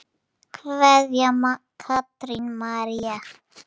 Kveðja, Katrín María.